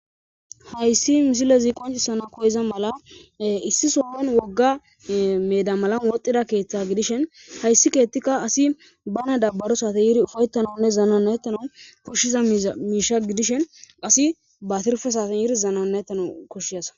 Haysi misilezi qoncisana koyiza mala issi sohon wogga meeda malan wodhida keethay gidishin haysi keethika asi bana danarishin yiri ufaytanawune zanana'etanawu koshiza miisha gidishin asi ba tirfe saaten yiri zanana'etanawu koshiyasa.